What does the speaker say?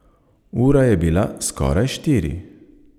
Ura je bila skoraj štiri.